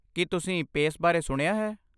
ਕੀ ਤੁਸੀਂ ਪੇਸ ਬਾਰੇ ਸੁਣਿਆ ਹੈ ?